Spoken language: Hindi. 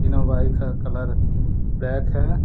तीनों बाई का कलर ब्लैक है।